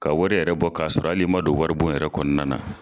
Ka wari yɛrɛ bɔ k'a sɔrɔ hali i man don wari bon yɛrɛ kɔnɔna na.